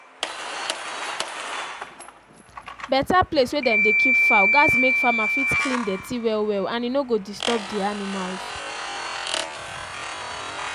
better place wey dem dey keep fowl gats make farmer fit clean dirty well well and e no go disturb the animals